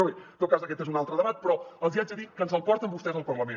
però bé en tot cas aquest és un altre debat però els hi haig de dir que ens el porten vostès al parlament